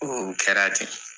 O kɛra ten.